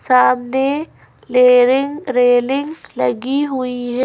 सामने लेरींग रेलिंग लगी हुई है।